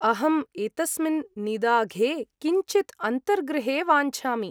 अहम् एतस्मिन् निदाघे किञ्चित् अन्तर्गृहे वाञ्छामि।